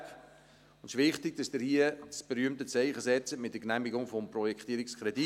Es ist wichtig, dass Sie hier das berühmte Zeichen setzen mit der Genehmigung des Projektierungskredits.